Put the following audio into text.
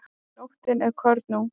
Nóttin er kornung.